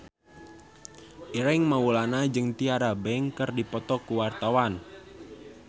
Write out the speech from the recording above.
Ireng Maulana jeung Tyra Banks keur dipoto ku wartawan